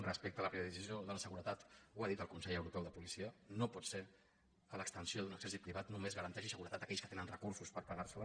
respecte a la privatització de la seguretat ho ha dit el consell europeu de policia no pot ser que l’extensió d’un exèrcit privat només garanteixi seguretat a aquells que tenen recursos per pagar se la